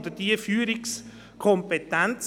Oder vom Alt-FDP-Ständerat Rolf Schweiger?